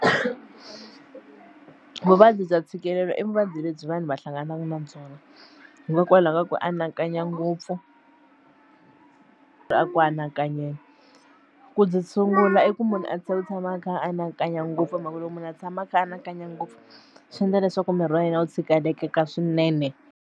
Vuvabyi bya ntshikelelo i vuvabyi lebyi vanhu va hlanganaka na byona hikokwalaho ka ku anakanya ngopfu ku byi sungula i ku munhu a tshika ku tshama a kha a anakanya ngopfu hi mhaka lowu munhu a tshama a kha a anakanya ngopfu swi endla leswaku miri wa yena wu tshikelekeka swinene.